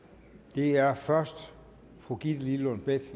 det er først fru gitte lillelund bech med